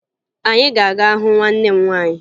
Anyị ga-aga hụ nwanne m nwaanyị